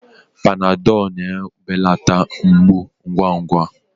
Panadọlụ na-ebelata mgbu ngwa ngwa.